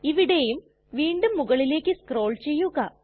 ഇവിടെയും വീണ്ടും മുകളിലേക് സ്ക്രോൾ ചെയ്യുക